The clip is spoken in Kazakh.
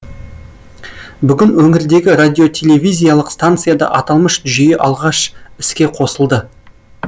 бүгін өңірдегі радиотелевизиялық станцияда аталмыш жүйе алғаш іске қосылды